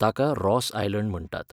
ताका Ross Island म्हणटात.